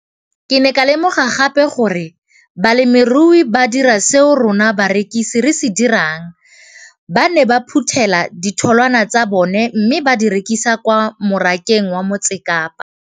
Ke ne ka lemoga gape gore balemirui ba dira seo rona barekisi re se dirang - ba ne ba phuthela ditholwana tsa bona mme ba di rekisa kwa marakeng wa Motsekapa.